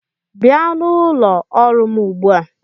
Bịa n'ụlọ ọrụ m ugbu a!